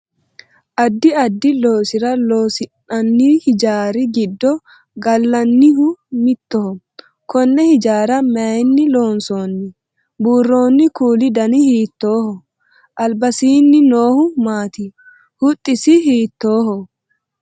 addi addi loosira horonsi'nanni hijaari giddo gallannihu mittoho konne hijaara mayeenni loonsoonni? buurroonni kuuli dani hiittooho? albasiinni noohu maati? huxxisi hiittooho?